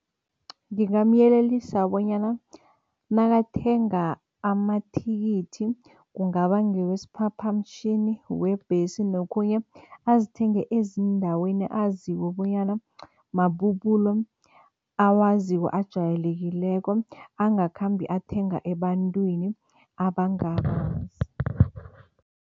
Ngingamyelelisa bonyana nakathenga amathikithi kungaba ngewesiphaphamtjhini, webhesi nokhunye azithenge ezindaweni azikho bonyana mabubulo awaziko ajayelekileko, angakhambi athenga ebantwini abangabazi.